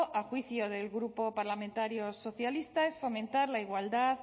a juicio del grupo parlamentario socialistas vascos es fomentar la igualdad